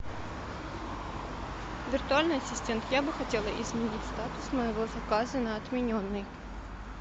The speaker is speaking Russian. виртуальный ассистент я бы хотела изменить статус моего заказа на отмененный